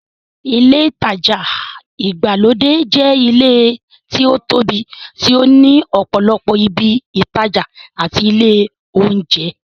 Ilé ìtajà ìgbàlódé jẹ́ ilé tí ó tóbi tí ó ní ọ̀pọ̀lọpọ̀ ibi ìtajà àti ilé óúnjẹ.